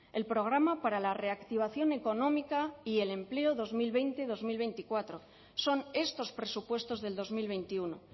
el programa para la reactivación económica y el empleo dos mil veinte dos mil veinticuatro son estos presupuestos del dos mil veintiuno